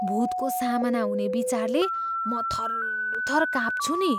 भुतको सामना हुने विचारले म थरथर काँप्छु नि।